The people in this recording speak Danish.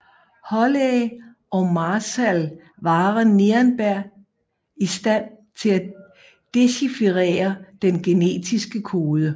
Holley og Marshall Warren Nirenberg i stand til at dechifrere den genetiske kode